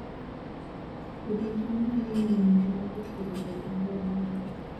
Pidho cham nyalo miyo ngima jopur obed maber moloyo